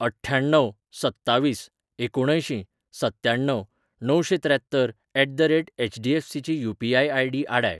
अठ्ठ्याण्णव सत्तावीस एकुणअंयशीं सत्त्याण्णव णवशेंत्र्यात्तर एट द रेट एचडीएफसी ची यू.पी.आय. आय.डी. आडाय.